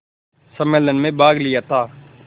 सम्मेलन में भाग लिया था